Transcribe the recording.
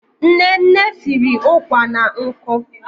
Nne nne siri ụkwà na nkụ.